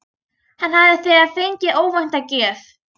Hann hafði þegar fengið óvænta gjöf.